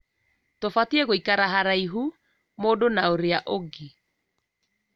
Tũbatiĩ gũikara haraihu mũndũ na ũrĩa ũngĩ